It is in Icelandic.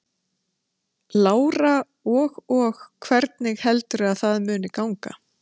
Lára: Og og hvernig heldurðu að það muni ganga?